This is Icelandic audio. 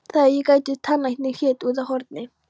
Það er ágætur tannlæknir hér úti á horni.